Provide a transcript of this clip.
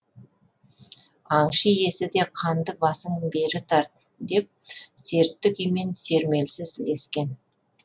аңшы иесі де қанды басың бері тарт деп сертті күймен сермелсіз ілескен